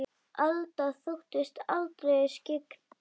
Alda þóttist aldrei vera skyggn.